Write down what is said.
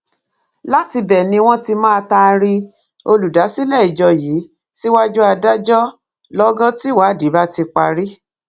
látìbẹ ni wọn ti máa taari olùdásílẹ ìjọ yìí síwájú adájọ lọgán tíwádìí bá ti parí